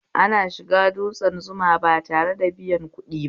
Ana shiga dutsne Zuma ba tare da biyan kuɗi ba